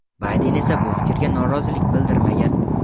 Bayden esa bu fikrga norozilik bildirmagan.